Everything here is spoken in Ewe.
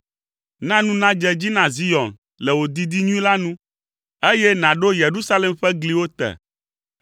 Na nu nadze edzi na Zion le wò didi nyui la nu, eye nàɖo Yerusalem ƒe gliwo te.